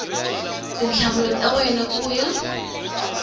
tinhlamulo ta wena ku ya